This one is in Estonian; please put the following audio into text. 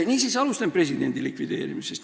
Niisiis, alustame presidendi institutsiooni likvideerimisest.